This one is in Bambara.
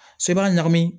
So i b'a ɲagami